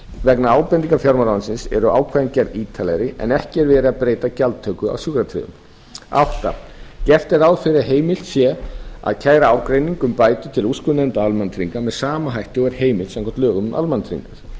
vegna ábendinga fjármálaráðuneytisins voru ákvæðin gerð ítarlegri en ekki er verið að breyta gjaldtöku af sjúkratryggðum áttunda gert er ráð fyrir að heimilt sé að kæra ágreining um bætur til úrskurðarnefndar almannatrygginga með sama hætti og er heimilt samkvæmt lögum um almannatryggingar